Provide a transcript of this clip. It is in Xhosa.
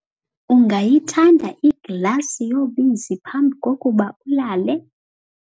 ungayithanda iglasi yobisi phambi kokuba ulale?